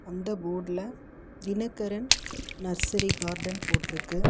அந்த ஃபோர்ட்ல Dinakaran nursery garden போட்ருக்கு.